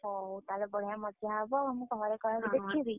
ହଉ ତାହେଲେ ବଢିଆ ମଜା ହବ ଆଉ ମୁଁ ଘରେ କହିକି ଦେଖିବି, ହଁ।